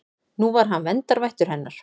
Nú var hann verndarvættur hennar.